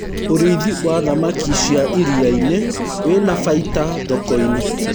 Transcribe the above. ũrĩithi wa thamakĩ cia iria-inĩ wina baida thoko-inĩ